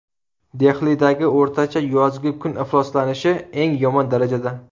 Dehlidagi o‘rtacha yozgi kun ifloslanishi eng yomon darajada.